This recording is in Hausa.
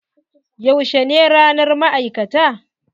Yaushe ne ranar ma'aikata?